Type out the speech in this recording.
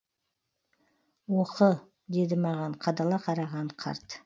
оқы деді маған қадала қараған қарт